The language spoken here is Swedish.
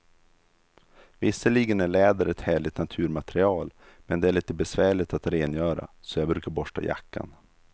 Visserligen är läder ett härligt naturmaterial, men det är lite besvärligt att rengöra, så jag brukar borsta jackan.